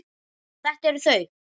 Og þetta eru þau.